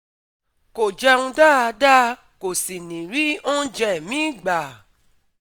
Kò jẹun dáadáa, kò sì ní rí oúnjẹ míì gbà